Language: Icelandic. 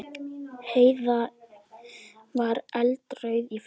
Heiða var eldrauð í framan.